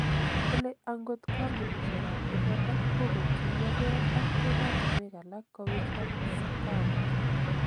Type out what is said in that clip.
Kole angot kampunishekap imanda kokotuya ge ak ematinwek alak kowirta CECAFA